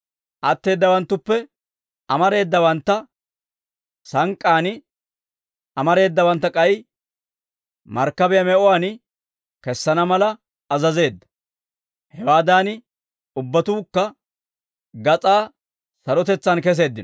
Atteeddawanttuppe amareedawanttu sank'k'aan, amareedawanttu k'ay markkabiyaa me'uwaan kesana mala azazeedda; hewaadan ubbatuukka gas'aa sarotetsaan keseeddino. Pawuloosa Rooma Ogiyaa